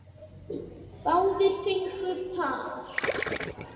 Báðir fengu par.